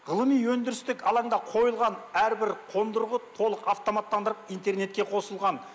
ғылыми өндірістік алаңда қойылған әрбір қондырғы толық автоматтандырып интернетке қосылған